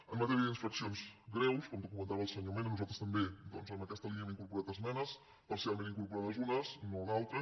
en matèria d’infraccions greus com documentava el senyor mena nosaltres també doncs en aquesta línia hem incorporat esmenes parcialment incorporades unes no d’altres